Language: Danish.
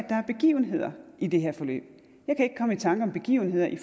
er begivenheder i det her forløb jeg kan ikke komme i tanker om begivenheder i